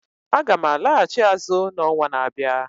Aga m alaghachi azụ n'ọnwa na-abịa.